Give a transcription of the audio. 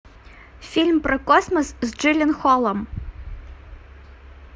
фильм про космос с джилленхолом